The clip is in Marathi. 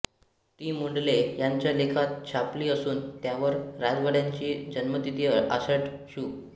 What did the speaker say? ती मुंडले ह्यांच्या लेखात छापली असून त्यावर राजवाड्यांची जन्मतिथी आषाढ शु